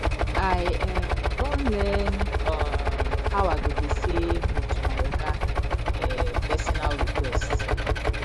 i um don learn um how i go dey sey no to my oga um personal request